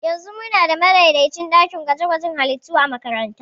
Yanzu muna da madaidaicin ɗakin gwaje-gwajen halittu a makarantara.